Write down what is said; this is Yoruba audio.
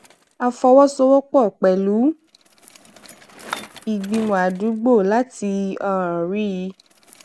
a fọwósowópò pèlú ìgbìmò àdúgbò láti um rí i